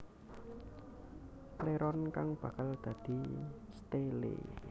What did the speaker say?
Pléron kang bakal dadi stélé